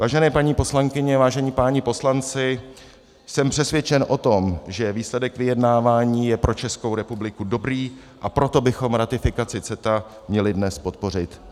Vážené paní poslankyně, vážení páni poslanci, jsem přesvědčen o tom, že výsledek vyjednávání je pro Českou republiku dobrý, a proto bychom ratifikaci CETA měli dnes podpořit.